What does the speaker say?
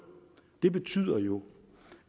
det betyder jo